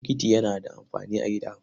Bokiti yana da amfani a gida.